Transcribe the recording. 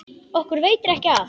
Okkur veitir ekki af.